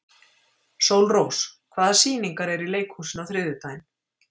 Sólrós, hvaða sýningar eru í leikhúsinu á þriðjudaginn?